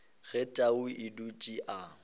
ge tau a dutše a